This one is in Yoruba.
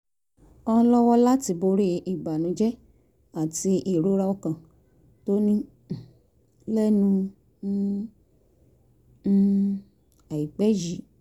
án lọ́wọ́ láti borí ìbànújẹ́ àti ìrora ọkàn tó ní um lẹ́nu um um àìpẹ́ yìí